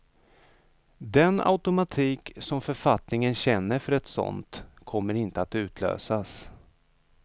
Den automatik som författningen känner för ett sådant kommer inte att utlösas.